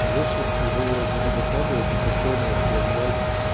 я сейчас его буду докладывать и повторно отправлять